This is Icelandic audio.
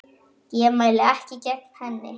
Ég mæli ekki gegn henni.